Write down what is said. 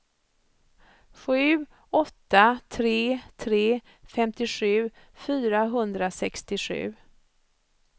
sju åtta tre tre femtiosju fyrahundrasextiosju